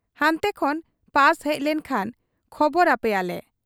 ᱦᱟᱱᱛᱮ ᱠᱷᱚᱱ ᱯᱟᱥ ᱦᱮᱡ ᱞᱮᱱ ᱠᱷᱟᱱ ᱠᱷᱚᱵᱚᱨ ᱟᱯᱮᱭᱟᱞᱮ ᱾